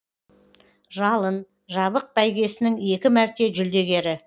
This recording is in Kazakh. жалын жабық бәйгесінің екі мәрте жүлдегері